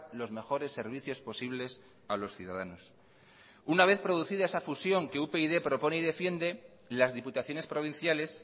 los mejores servicios posibles a los ciudadanos una vez producida esa fusión que upyd propone y defiende las diputaciones provinciales